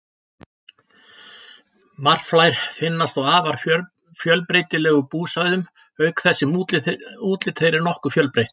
Marflær finnast á afar fjölbreytilegum búsvæðum auk þess sem útlit þeirra er nokkuð fjölbreytt.